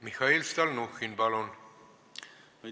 Mihhail Stalnuhhin, palun!